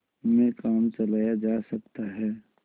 में काम चलाया जा सकता है